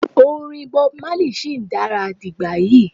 orin Bob Marley shi dara digbayi